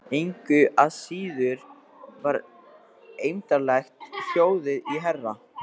Engu að síður var eymdarlegt hljóðið í herra